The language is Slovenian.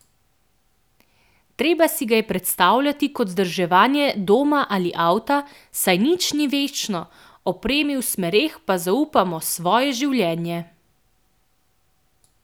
Treba si ga je predstavljati kot vzdrževanje doma ali avta, saj nič ni večno, opremi v smereh pa zaupamo svoje življenje!